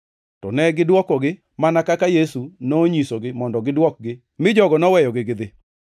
To negidwokogi mana kaka Yesu nonyisogi mondo gidwokgi mi jogo noweyogi gidhi.